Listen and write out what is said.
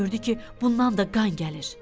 Gördü ki, bundan da qan gəlir.